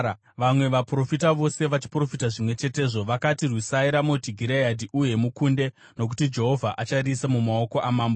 Vamwe vaprofita vose vachiprofita zvimwe chetezvo, vakati, “Rwisai Ramoti Gireadhi uye mukunde, nokuti Jehovha achariisa mumaoko amambo.”